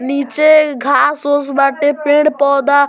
निचे घास-उस बाटे पेड़-पौधा --